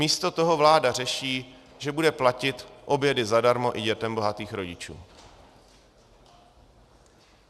Místo toho vláda řeší, že bude platit obědy zadarmo i dětem bohatých rodičů.